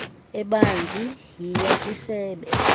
ebanzi yiya kwisebe